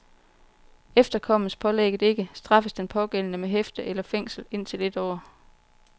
Efterkommes pålægget ikke, straffes den pågældende med hæfte eller fængsel indtil et år.